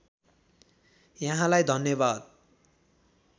यहाँलाई धन्यवाद